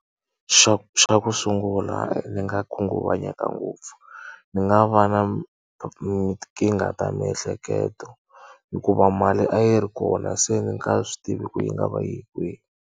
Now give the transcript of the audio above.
Xa xa ku sungula ni nga khunguvanyeka ngopfu. Ni nga va na tinkingha ta miehleketo, hikuva mali a yi ri kona se ni nga swi tivi ku yi nga va yi ye kwihi.